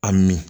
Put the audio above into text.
A mi